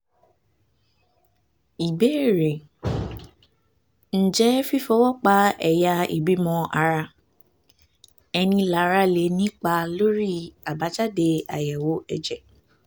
ìbéèrè: ǹjẹ́ fífọwọ́ pa ẹ̀yà ìbímọ ara-ẹni lára lè nípa lórí àbájáde àyẹ̀wò ẹ̀jẹ̀?